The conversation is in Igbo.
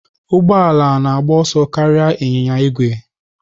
Ụgbọ ala na-agba ọsọ karịa ịnyịnya ígwè.